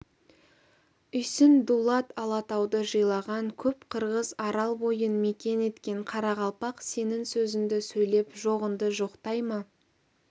үйсін дулат алатауды жайлаған көп қырғыз арал бойын мекен еткен қарақалпақ сенің сөзіңді сөйлеп жоғыңды жоқтай ма